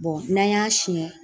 n'an y'a siyɛn